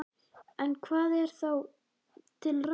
En hvað er þá til ráða?